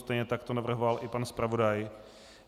Stejně tak to navrhoval i pan zpravodaj.